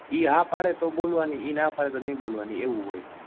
એ હા પડે તો બોલવાની એ ના પાડે તો નહિ બોલવાની એવું હોય.